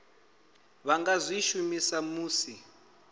vha nga zwi shumisa musi